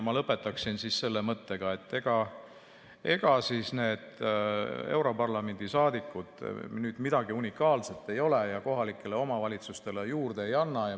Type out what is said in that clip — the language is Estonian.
Ma lõpetaksin selle mõttega, et ega need europarlamendi saadikud nüüd midagi unikaalset ei ole ja kohalikele omavalitsustele midagi juurde ei anna.